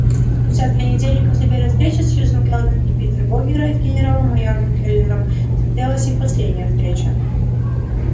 спустя две недели после первой встречи сьюзен кэлвин и питера богерта с генерал майором кэллнером состоялась их последняя встреча